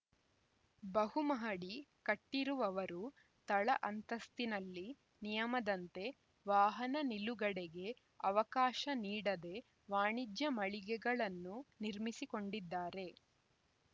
ಬಹುಮಹಡಿ ಕಟ್ಟಿರುವವರು ತಳ ಅಂತಸ್ತಿನಲ್ಲಿ ನಿಯಮದಂತೆ ವಾಹನ ನಿಲುಗಡೆಗೆ ಅವಕಾಶ ನೀಡದೆ ವಾಣಿಜ್ಯ ಮಳಿಗೆಗಳನ್ನು ನಿರ್ಮಿಸಿಕೊಂಡಿದ್ದಾರೆ